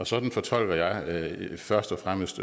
sådan fortolker jeg først og fremmest